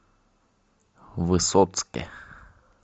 высоцке